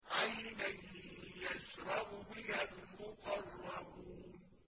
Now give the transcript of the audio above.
عَيْنًا يَشْرَبُ بِهَا الْمُقَرَّبُونَ